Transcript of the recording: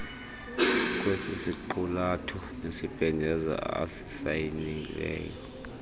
kwesisiqulatho nesibhengezo asisayinileyo